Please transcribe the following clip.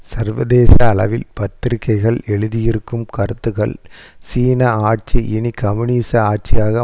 சர்வதேச அளவில் பத்திரிகைகள் எழுதியிருக்கும் கருத்துகள் சீன ஆட்சி இனி கம்யூனிச ஆட்சியாக